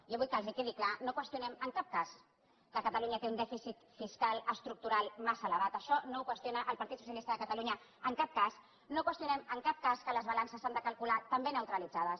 jo vull que els quedi clar no qüestionem en cap cas que catalunya té un dèficit fiscal estructural massa ele·vat això no ho qüestiona el partit socialista de cata·lunya en cap cas no qüestionem en cap cas que les ba·lances s’han de calcular també neutralitzades